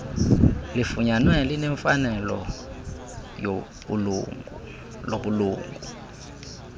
lifunyanwe linemfanelo lobulungu